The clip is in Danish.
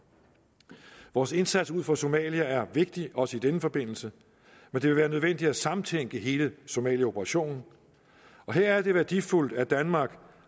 vores indsats ud for somalia er vigtig også i denne forbindelse men det vil være nødvendigt at samtænke hele somaliaoperationen og her er det værdifuldt at danmark